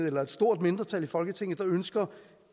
eller et stort mindretal i folketinget der ønsker